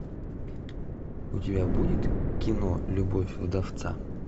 у тебя будет кино любовь вдовца